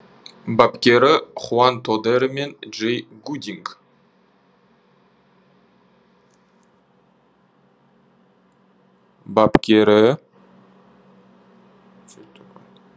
бапкері хуан тодеро мен джей гудинг